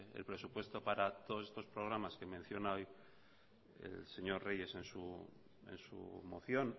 el presupuesto para todos estos programas que menciona el señor reyes en su moción